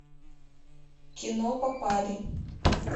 кино попали